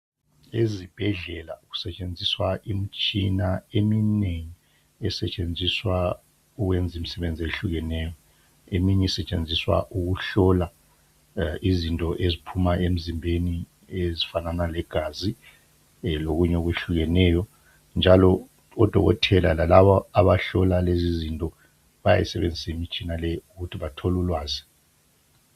Ezibhedlela kusetshenziswa imitshina eminengi. Esetshenziswa ukwenza imisebenzi ehlukeneyo. Eminye isetshenziswa ukuhlola izinto eziphuma emzimbeni, ezifanana legazi, lokunye okwehlukeneyo. Njalo odokotela laabo abahlola lezizinto. Bayayisebenzisa imitshina leyi ukuthi bathole ulwazi.